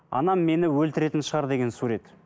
анам мені өлтіретін шығар деген сурет